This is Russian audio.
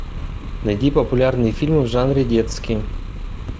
найди популярные фильмы в жанре детские